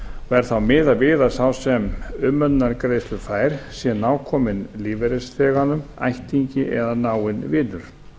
er þá miðað við að sá sem umönnunargreiðslur fær sé nákominn lífeyrisþeganum ættingi eða náinn vinur